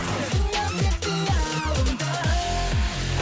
қалдың ба тек қиялымда